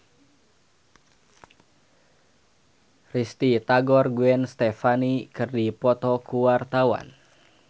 Risty Tagor jeung Gwen Stefani keur dipoto ku wartawan